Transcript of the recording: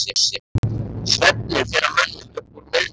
Svefninn fer að mönnum upp úr miðnætti.